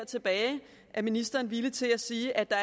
tilbage er ministeren villig til at sige at der